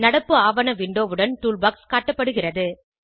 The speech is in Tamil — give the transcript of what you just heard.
நடப்பு ஆவண விண்டோவுடன் டூல்பாக்ஸ் காட்டப்படுகிறது